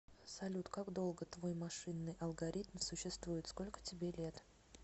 салют как долго твой машинный алгоритм существует сколько тебе лет